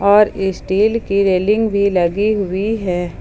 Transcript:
और स्टील की रेलिंग भी लगी हुई है।